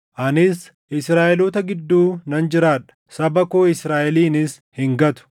Anis Israaʼeloota gidduu nan jiraadha; saba koo Israaʼelinis hin gatu.”